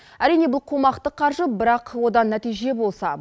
әрине бұл қомақты қаржы бірақ одан нәтиже болса